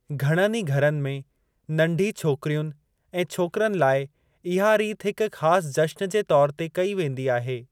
घणनि ही घरनि में नंढी छोकिरियुनि ऐं छोकरनि लाइ इहा रीत हिकु ख़ासि जश्‍न जे तौरु ते कई वेंदी आहे।